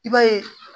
I b'a ye